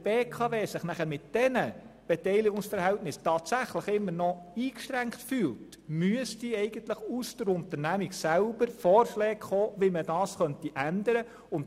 Sollte sich die BKW mit diesen Beteiligungsverhältnissen nachher fühlen, immer noch eingeschränkt tatsächlich müssten aus der Unternehmung selber Vorschläge kommen, wie dies zu ändern sei.